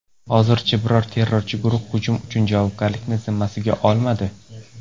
Hozircha biror terrorchi guruh hujum uchun javobgarlikni zimmasiga olmadi.